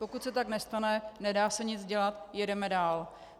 Pokud se tak nestane, nedá se nic dělat, jedeme dál.